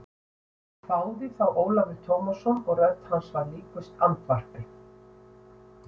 hváði þá Ólafur Tómasson og rödd hans var líkust andvarpi.